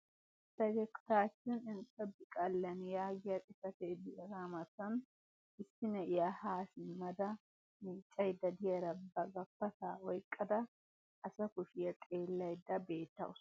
"Fegegitaawichchin Enxxebiqaalen" yaagiya xifatee diyaagaa matan issi na'iyaa haa simma da miiccaydda diyaara ba gappataa oyqqida asa kushshiya xeelaydda beetawusu.